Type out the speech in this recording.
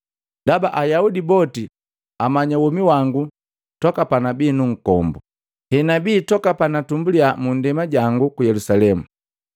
“Ndaba Ayaudi boti amanya womi wangu toka panabi nkombu, hegabi toka panatumbulia mu ndema jangu ku Yelusalemu.